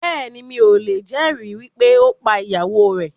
Bẹ́ẹ̀ni, mi ò lè jẹ̀ ẹ̀rí wípé ó pá ìyàwó rẹ̀